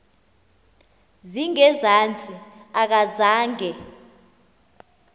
zinge zantsi akazange